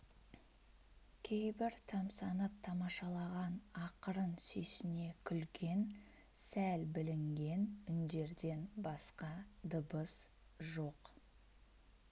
кейбір тамсанып тамашалаған ақырын сүйсіне күлген сәл білінген үндерден басқа дыбыс жоқ